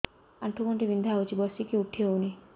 ଆଣ୍ଠୁ ଗଣ୍ଠି ବିନ୍ଧା ହଉଚି ବସିକି ଉଠି ହଉନି